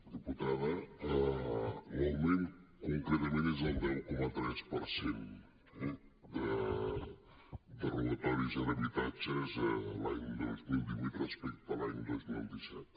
diputada l’augment concretament és del deu coma tres per cent eh de robatoris en habitatges l’any dos mil divuit respecte a l’any dos mil disset